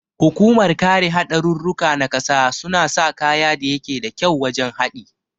Hukumar kare hadarurruka na ƙasa suna sa kaya da yake da kyau wajan haɗi